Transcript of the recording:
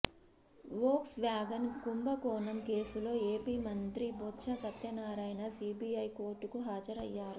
Volks wagon కుంభకోణం కేసులో AP మంత్రి బొత్స సత్యనారాయణ సీబీఐ కోర్టుకు హాజరయ్యారు